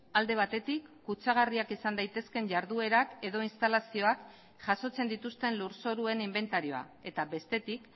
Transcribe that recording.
alde batetik kutsagarriak izan daitezkeen jarduerak edo instalazioak jasotzen dituzten lurzoruen inbentarioa eta bestetik